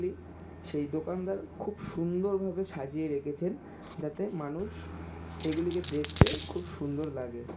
সেই দোকানদার খুব সুন্দর ভাবে সাজিয়ে রেখেছেন যাতে মানুষ এগুলিকে দেখতে খুব সুন্দর লাগে।